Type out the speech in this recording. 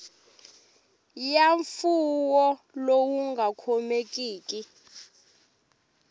ya mfuwo lowu nga khomekiki